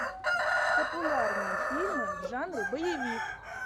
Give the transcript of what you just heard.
популярные фильмы в жанре боевик